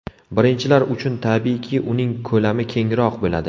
Birinchilar uchun, tabiiyki, uning ko‘lami kengroq bo‘ladi.